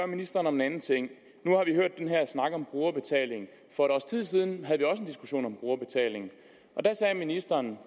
ministeren om en anden ting nu har vi hørt den her snak om brugerbetaling for et års tid siden havde vi også en diskussion om brugerbetaling og der sagde ministeren